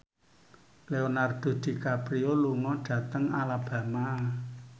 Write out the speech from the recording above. Leonardo DiCaprio lunga dhateng Alabama